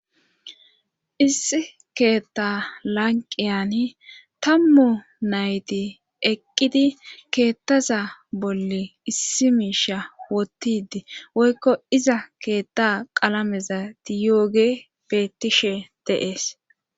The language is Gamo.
issi keetta lanqiyan tammu nayti eqqidi keettaza bolle issi miisha wottidi woykko iza keetta qalameza tiyooge bettishe deees